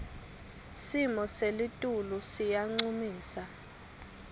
simo selitulu siyancumisa